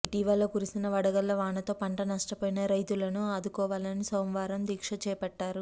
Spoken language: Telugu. ఇటీవల కురిసిన వడగళ్ల వానతో పంట నష్టపోయిన రైతులను ఆదుకోవాలని సోమవారం దీక్ష చేపట్టారు